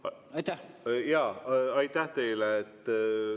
Aitäh teile!